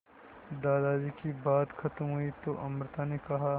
दादाजी की बात खत्म हुई तो अमृता ने कहा